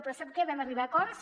però sap que vam arribar a acords